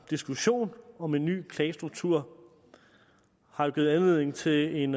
diskussionen om en ny klagestruktur har jo givet anledning til en